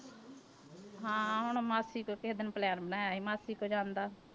ਹਾਂ ਹੁਣ ਮਾਸੀ ਕੋਲ ਕਿਸੇ ਦਿਨ plan ਬਣਾਇਆ ਸੀ ਮਾਸੀ ਕੋਲ ਜਾਣ ਦਾ।